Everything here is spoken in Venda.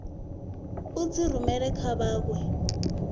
u dzi rumela kha vhanwe